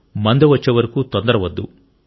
మందు వచ్చేవరకు తొందరవద్దు